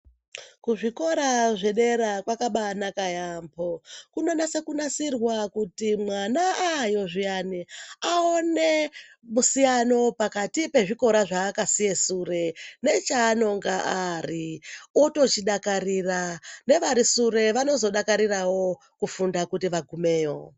Kuzvikora zvedera kwakabanaka yamho kunonase kunasirwa kuti mwana ayo zviyani aone musiyano pakati pezvikora zvaakasiye sure nechaanonga ari otochidakarira nevari sure vanozodakarirawo kufunda kuti vagumeyo.